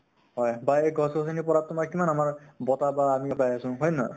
বা সেই গছ গছনি ৰ পৰা তোমাৰ কিমান আমাৰ বতাহ বা আমি পাই আছো । হয় নে নহয় ?